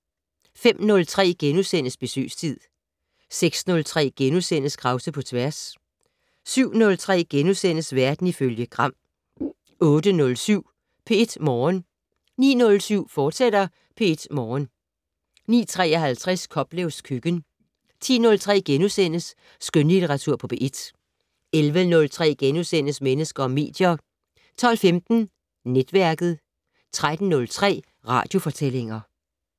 05:03: Besøgstid * 06:03: Krause på tværs * 07:03: Verden ifølge Gram * 08:07: P1 Morgen 09:07: P1 Morgen, fortsat 09:53: Koplevs køkken 10:03: Skønlitteratur på P1 * 11:03: Mennesker og medier * 12:15: Netværket 13:03: Radiofortællinger